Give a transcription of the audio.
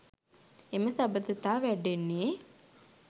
එම සබඳතා වැඩෙන්නේ